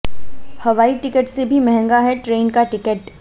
हवाई टिकट से भी महंगा है ट्रेन का टिकट